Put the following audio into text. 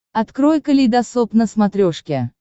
открой калейдосоп на смотрешке